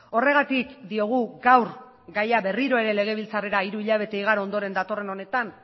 horregatik diogu gaur gaia berriro ere legebiltzarrera hiru hilabete igaro ondoren datorren honetan